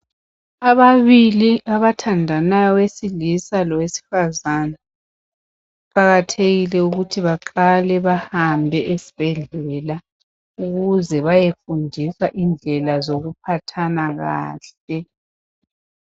Ababili abathandanayo owesilisa lowesifazana kuqakathekile ukuthi baqale bahambe esibhedlela ukuze beyefundiswa indlela sokuphathana kahle.